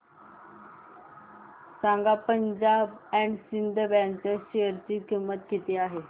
सांगा Punjab and Sind bank च्या share ची किंमत किती आहे